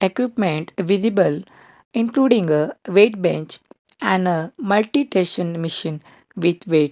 equipment visible including a weight bench and a multi machine with weight.